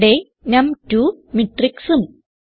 ഇവിടെ നം2 matrixഉം